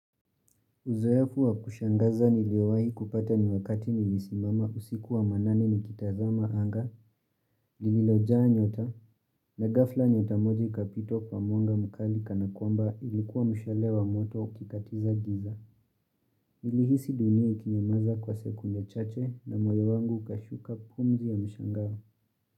Uzoefu wa kushangaza niliowahi kupata ni wakati nilisimama usiku wa manane ni kitazama anga, lilojaa nyota, na ghafla nyota moja ikapita kwa mwanga mkali kanakwamba ilikuwa mshale wa moto ukikatiza giza. Nilihisi dunia ikinyamaza kwa sekunde chache na moyo wangu ukashuka pumzi ya mshangao.